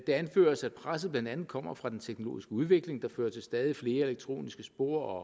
det anføres at presset blandt andet kommer fra den teknologiske udvikling der fører til stadig flere elektroniske spor